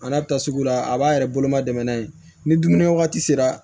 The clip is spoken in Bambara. A n'a bɛ taa sugu la a b'a yɛrɛ boloma dɛmɛ n'a ye ni dumuni wagati sera